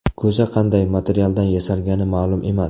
Ko‘za qanday materialdan yasalgani ma’lum emas.